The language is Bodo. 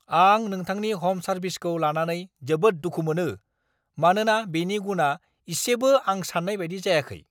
आं नोंथांनि ह'म सार्विसखो लानानै जोबोद दुखु मोनो, मानोना बेनि गुनआ एसेबो आं साननाय बायदि जायाखै।